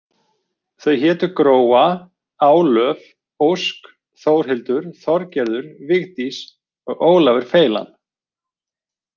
Þau hétu Gróa, Álöf, Ósk, Þórhildur, Þorgerður, Vigdís og Ólafur feilan.